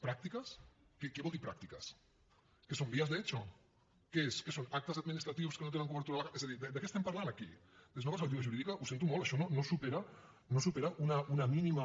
prácticas què vol dir prácticas què són vías de hecho què són actes administratius que no tenen cobertura legal és a dir de què estem parlant aquí des d’una perspectiva jurídica ho sento molt això no supera una mínima